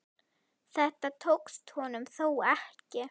Þetta tókst honum þó ekki.